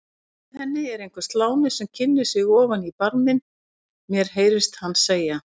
Með henni er einhver sláni sem kynnir sig ofan í barminn, mér heyrist hann segja